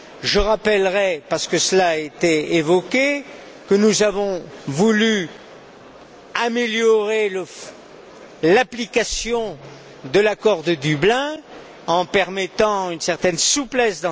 Je rappellerai parce que cela a été évoqué que nous avons voulu améliorer l'application de l'accord de Dublin en permettant une certaine souplesse.